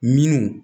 Minnu